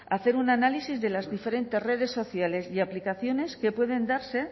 hacer un análisis de las diferentes redes sociales y aplicaciones que pueden darse